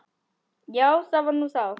Já, það var nú þá.